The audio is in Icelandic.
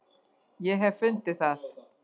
Ég hef fundið það!